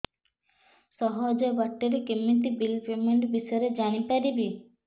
ସହଜ ବାଟ ରେ କେମିତି ବିଲ୍ ପେମେଣ୍ଟ ବିଷୟ ରେ ଜାଣି ପାରିବି